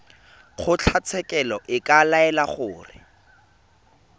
kgotlatshekelo e ka laela gore